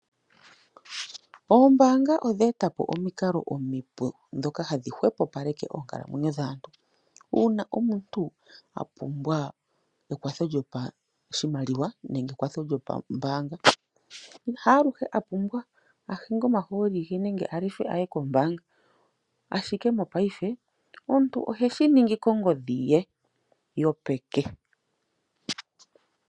Oombanga odha etapo omikalo omipu ndhoka hadhi hwepopaleke oonkalamwenyo dhaantu uuna omuntu a pumbwa ekwatho lyopashimaliwa nenge ekwatho lyopambaanga. Haaluhe a pumbwa a hinge omahooli ge nenge a lefe a ye kombanga ashike mongaashingeyi omuntu ohe shi ningi kongodhi ye yopeke.